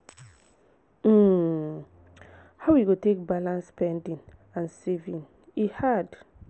um how we go take balance spending and saving e hard.